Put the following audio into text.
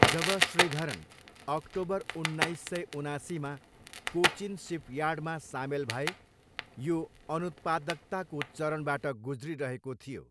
जब Sreedharan October उन्नाइस सय उनासीमा कोचिन सिपयार्डमा सामेल भए, यो अनुत्पादकताको चरणबाट गुज्रिरहेको थियो।